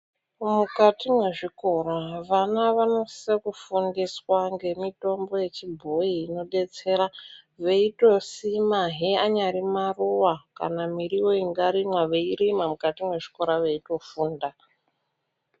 Mukati mwezvikora vana vano sise kufundiswa ngemitombo yechibhoyi ino detsera, veito simahe anyari maruwa kana miriwo ingarimwa vei rima mukati mwezvikora veitofunda.